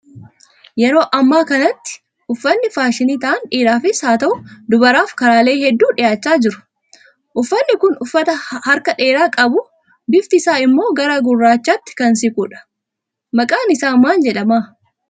Yeroo ammaa kanatti uffatni faashinii ta'an dhiiraafis haa ta'u, dubaraaf karaalee hedduu dhiyaachaa jiru. Uffatni kun uffata harka dheeraa qabu, bifti isaa immoo gara gurraachaatti kan siqudha. Maqaan isaa maal jedhama?